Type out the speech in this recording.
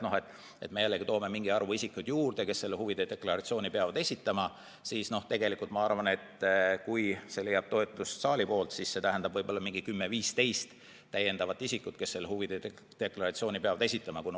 Kui me toome juurde mingi arvu isikuid, kes huvide deklaratsiooni peavad esitama, siis tegelikult ma arvan, et kui see leiab toetust saali poolt, siis see tähendab lisaks 10–15 isikut, kes huvide deklaratsiooni peavad esitama.